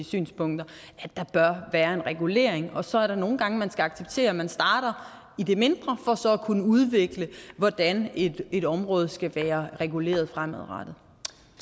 synspunkter der bør være en regulering af så er der nogle gange hvor man skal acceptere at man starter i det mindre for så at kunne udvikle hvordan et et område skal være reguleret fremadrettet